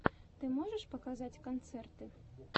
ты можешь показать концерты